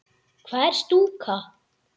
Hvað er stúka?